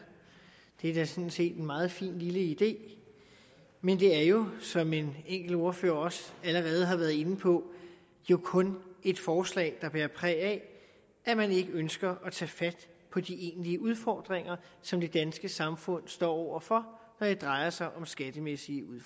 det er sådan set en meget fin lille idé men det er jo som en enkelt ordfører også allerede har været inde på kun et forslag der bærer præg af at man ikke ønsker at tage fat på de egentlige udfordringer som det danske samfund står over for når det drejer sig om det skattemæssige